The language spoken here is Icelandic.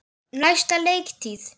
Næsta leiktíð?